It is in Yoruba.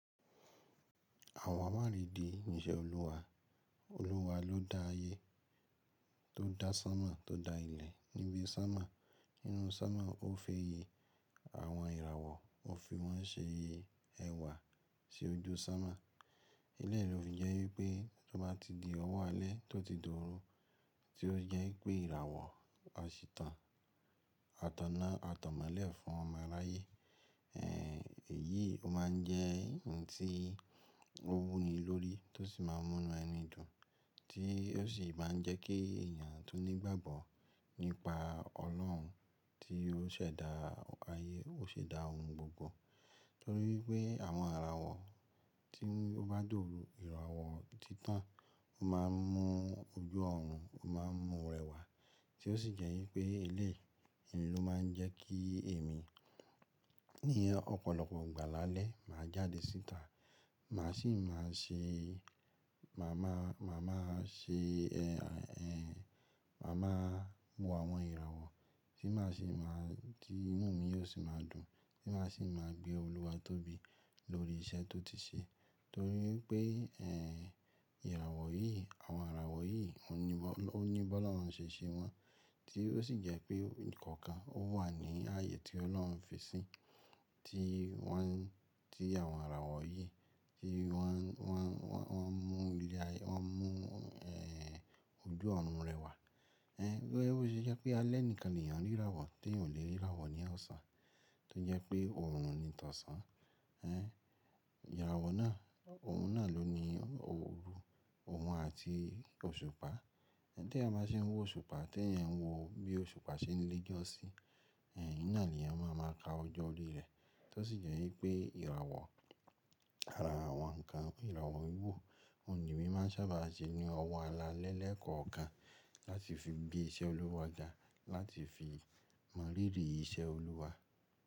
Àwọn àmàle di iṣẹ́ Olúwa. Olúwa ló da ayé, tó da sánmà, tó da ilẹ̀ lórí sánmà. Nínú sánmà ó fi àwọn ìràwọ̀, ó fi wọ́n ṣe ẹwà sí ojú sánmà. Eléyìí ló fi jẹ́ wípé tó bá ti di ọwọ́ alẹ́ tó ti dùnrun tí ó jẹ́ pé ìràwọ̀ a ṣìtán, a taná, a tọ̀mọ̀lé fún ọmọ aláye. Ẹ̀ yìí ó máa ń jẹ́ ohùn tí ó wuni lórí tó sì máa ń múnu ẹnu idun tí ó sì máa ń jẹ́ kí èèyàn tó nígbàgbọ́ nípa Ọlọ́run tí ó ṣẹ̀dá ayé, ó ṣẹ̀dá ohun gbogbo. Nítorí pé àwọn ìràwọ̀ tí ó bá dóru, ìràwọ̀ títàn ó máa ń mú ojú ọ̀run, ó máa ń mú rẹwà tí ó sì jẹ́ wípé ilé yìí ló máa ń jẹ́ kí èmi ní ọ̀pọ̀lọpọ̀ ìgbà lálẹ́ máa jáde síta. Màá sì máa ṣe, màá máa, màá máa ṣe, èèè màá máa mú àwọn ìràwọ̀ tí màá sì máa tí inú mi yóò sì máa dùn tí màá sì máa gbé Olúwa tóbi lórí iṣẹ́ tó ti ṣe. Nítorí pé, ẹ́ ìràwọ̀ yìí, àwọn ìràwọ̀ yìí ó ní bọ́, ó ní bọ́ lọ́hun ṣe ṣe wọn tí ó sì jẹ́ pé kọ̀ọ̀kan ó wà ní ààyè tí Ọlọ́run fi sí i tí wọ́n, tí àwọn ìràwọ̀ yìí tí wọ́n, wọ́n, wọ́n, wọ́n mú ilẹ̀ ààyè, wọ́n mú ẹ́ẹ́ ojú ọ̀run rẹwà. Ẹ́ ẹ gbọ́, ó ṣe ẹ́ pé alẹ́níkan èèyàn rí ìràwọ̀ tí yòò lè rí ìràwọ̀ ní ọ̀sán tí ó jẹ́ pé òòrùn ni ìtànṣán. Ẹ́ ìràwọ̀ náà, òun náà ló ní òòrùn òun àti òṣùpá. Ẹ̀ tó yẹn máa ṣe ń wo òṣùpá, tó yẹn wo bí òṣùpá ṣe ń le jọ́sí, ẹ̀ ìnáà ni yẹn máa ma ka ọjọ́ orí rẹ̀. Tó sì jẹ́ wípé ìràwọ̀, àrà àwọn ǹkan, ìràwọ̀ ìwú, òní mi máa ń sábà ṣe ní ọwọ́ alaalẹ́ lẹ́ẹ̀kọ̀ọ̀kan láti fi gbé iṣẹ́ Olúwa ga, láti fi mọ̀rí rí iṣẹ́ Olúwa.